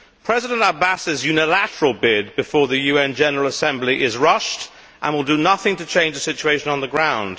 President Abbas's unilateral bid before the UN General Assembly is rushed and will do nothing to change the situation on the ground.